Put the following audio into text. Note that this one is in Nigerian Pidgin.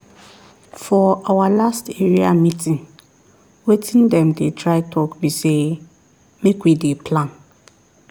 for our last area meeting wetin dem dey try talk be say make we dey plan